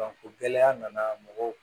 gɛlɛya nana mɔgɔw